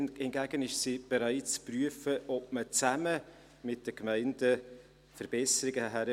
Hingegen ist sie bereit zu prüfen, ob man zusammen mit den Gemeinden Verbesserungen erreicht.